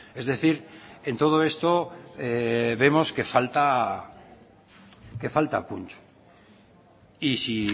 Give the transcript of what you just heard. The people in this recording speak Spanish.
es decir en todo esto vemos que falta punch y si